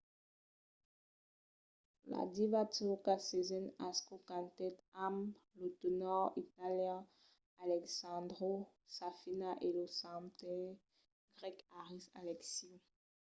la diva turca sezen aksu cantèt amb lo tenòr italian alessandro safina e lo cantaire grèc haris alexiou